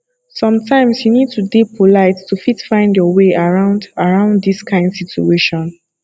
sometimes you need to dey polite to fit find your way around around this kind situation